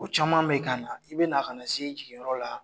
O caman bɛ k'an na, i bɛ na ka na se i jigiyɔrɔ la,